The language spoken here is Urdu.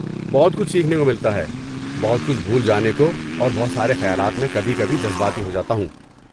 بہت کچھ سیکھنے کو ملتا ہے، بہت کچھ بھول جانے کو، اور بہت سارے خیالات، میں کبھی کبھی جذباتی ہو جاتا ہوں۔